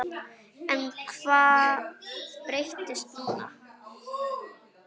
En hvað breytist núna?